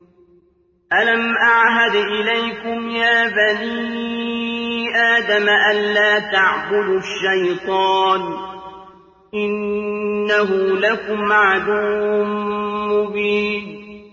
۞ أَلَمْ أَعْهَدْ إِلَيْكُمْ يَا بَنِي آدَمَ أَن لَّا تَعْبُدُوا الشَّيْطَانَ ۖ إِنَّهُ لَكُمْ عَدُوٌّ مُّبِينٌ